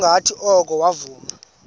ngokungathi oko wavuma